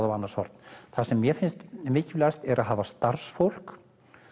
á annars horn það sem mér finnst mikilvægast er að hafa starfsfólk